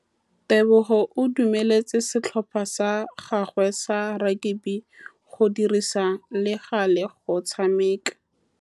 Tebogô o dumeletse setlhopha sa gagwe sa rakabi go dirisa le galê go tshameka.